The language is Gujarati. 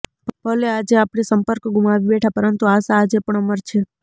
ભલે આજે આપણે સંપર્ક ગુમાવી બેઠા પરંતુ આશા આજે પણ અમર છે